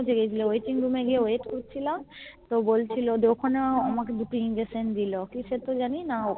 পৌঁছে গেছিলে Waiting Room এ গিয়ে Wait করছিলাম তো বলছিলো ওখানেও আমাকে দুটো Injection দিলো কিসের তো জানিনা